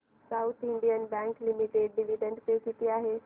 south Indian bank limited dividend pay किती आहे